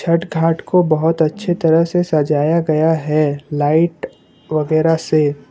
छठ घाट को बहुत अच्छे तरह से सजाया गया है लाइट वगैरा से।